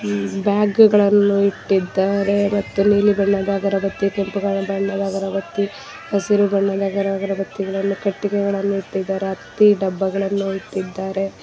ಬ್ಯಾಗುಗಳನ್ನು ಇಟ್ಟಿದ್ದಾರೆ ಮತ್ತು ನೀಲಿ ಬಣ್ಣದ ಅಗರಬತ್ತಿ ಕೆಂಪು ಬಣ್ಣದ ಅಗರಬತ್ತಿ ಹಸಿರು ಬಣ್ಣದ ಅಗರಬತ್ತಿಗಳನ್ನು ಕಟ್ಟಿಗೆಗಳನ್ನು ಇಟ್ಟಿದ್ದಾರೆ ಮತ್ತು ಹತ್ತಿ ಡಬ್ಬಗಳನ್ನು ಇಟ್ಟಿದ್ದಾರೆ.